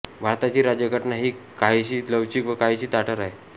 भारताची राज्यघटना ही काहिशी लवचीक व काहिशी ताठर आहे